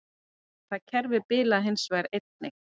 Það kerfi bilaði hins vegar einnig